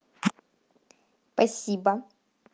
спасибо